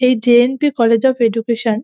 এই J .N .P college of education.